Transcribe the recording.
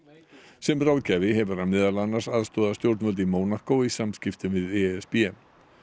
sem ráðgjafi hefur hann meðal annars aðstoðað stjórnvöld í í samskiptum við e s b